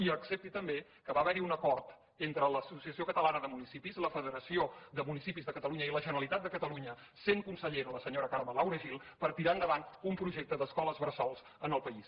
i accepti també que va haver hi un acord entre l’associació catalana de municipis la federació de municipis de catalunya i la generalitat de catalunya sent consellera la senyora carme laura gil per tirar endavant un projecte d’escoles bressol en el país